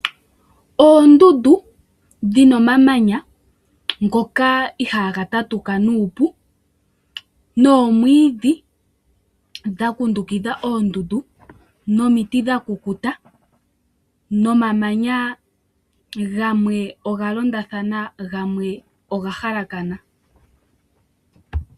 Oondundu dhina oomamanya ngoka iihaga tatuka nuupu, noomwiidhi dha kundukitha oondundu , noomiti dhakukuta noomamanya gamwe oga londa thana gamwe oga halakana.